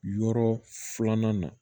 Yɔrɔ filanan na